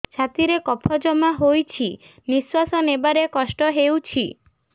ଛାତିରେ କଫ ଜମା ହୋଇଛି ନିଶ୍ୱାସ ନେବାରେ କଷ୍ଟ ହେଉଛି